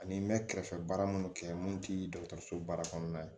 Ani n bɛ kɛrɛfɛ baara minnu kɛ mun ti dɔgɔtɔrɔso baara kɔnɔna ye